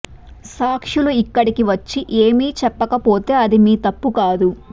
సాక్షులు ఇక్కడికి వచ్చి ఏమీ చెప్పకపోతే అది మీ తప్పు కాదు